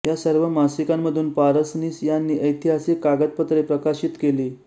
या सर्व मासिकांमधून पारसनीस यांनी ऐतिहासिक कागदपत्रे प्रकाशित केली